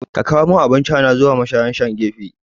Kawomin abin shana zuwa mashayar gefen tafki!